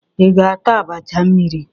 Ị ga-ata abacha mmiri?